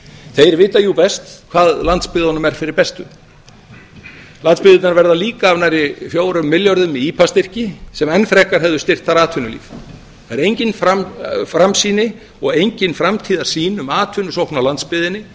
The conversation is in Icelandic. þeir vita jú best hvað landsbyggðunum er fyrir bestu landsbyggðirnar verða líka af nærri fjórum milljörðum í ipa styrki sem enn frekar hefðu styrkt þar atvinnulíf það er engin framsýni og engin framtíðarsýn um atvinnusókn á landsbyggðinni